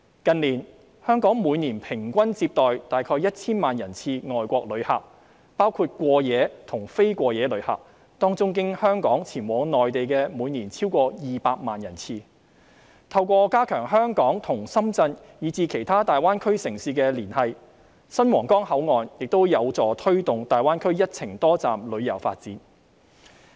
近年，香港每年平均接待的外國旅客大約 1,000 萬人次，包括過夜及非過夜旅客，當中經香港前往內地的每年超過200萬人次，透過加強香港及深圳以至其他大灣區城市的連繫，新皇崗口岸亦有助推動大灣區"一程多站"的旅遊發展。